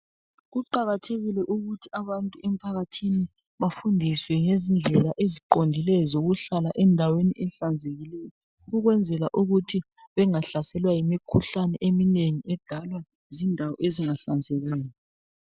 Kuqakathekile ukuthi abantu emphakathini bafundiswe ngezindlela eziqondileyo zokuhlala endaweni ezihlanzekileyo ukwenzela ukuthi bengahlaselwa yimkhuhlane iminengi edalwa zindawo ezingahlanzekanga.